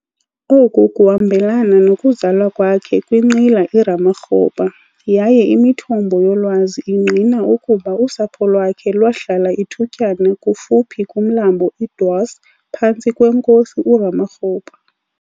Oku kuhambelana nokuzalwa kwakhe kwinqila iRamakgopa yaye imithombo yolwazi ingqina ukuba ingqina ukuba usapho lwakhe lwahlala ithutyana kufuphi kumlambo iDwars phantsi kweNkosi uRamokgopa.